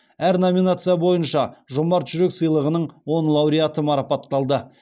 әр номинация бойынша жомарт жүрек сыйлығының он лауреаты марапатталды